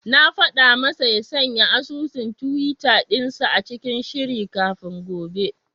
Na faɗa masa ya sanya asusun tiwita dinsa cikin shiri kafin gobe.